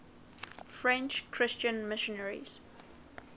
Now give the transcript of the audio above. french christian missionaries